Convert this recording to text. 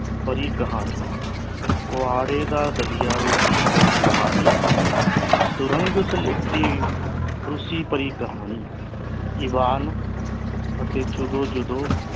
ਭਰੀ ਕਹਾਣੀ ਕੁਹਾੜੇ ਦਾ ਦਲੀਆ ਰੂਸੀ ਭਰੀ ਕਹਾਣੀ ਸੁਰੰਗ ਸਲੇਟੀ ਰੂਸੀ ਭਰੀ ਕਹਾਣੀ ਇਵਾਨ ਅਤੇ ਜਦੋ ਜਦੋ